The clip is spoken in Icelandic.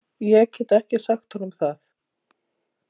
Ég get ekki sagt honum það.